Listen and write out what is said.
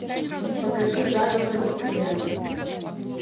покажи заговор в эскориале